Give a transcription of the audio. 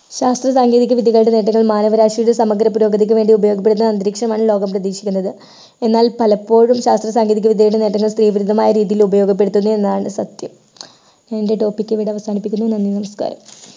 ശാസ്ത്ര സാങ്കേതിക വിദ്യകളുടെ നേട്ടങ്ങൾ മാനവരാശിയുടെ സമഗ്ര പുരോഗതിക്ക് വേണ്ടി ഉപയോഗപ്പെടുത്താൻ അന്തരീക്ഷമാണ് ലോകം പ്രതീക്ഷിക്കുന്നത് എന്നാൽ പലപ്പോഴും ശാസ്ത്ര സാങ്കേതികവിദ്യയുടെ നേട്ടങ്ങൾ സ്ത്രീ വിരുദ്ധമായ രീതിയിൽ ഉപയോഗപ്പെടുത്തുന്നില്ല എന്നതാണ് സത്യം എൻ്റെ topic ഇവിടെ അവസാനിപ്പിക്കുന്നു നന്ദി നമസ്കാരം